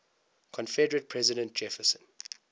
confederate president jefferson